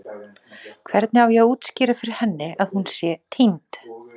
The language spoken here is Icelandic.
Hvernig á ég að útskýra fyrir henni að hún sé týnd?